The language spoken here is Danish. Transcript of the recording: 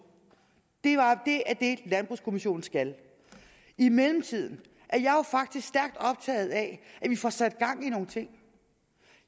det er det landbrugskommissionen skal i mellemtiden er jeg faktisk stærkt optaget af at vi får sat gang i nogle ting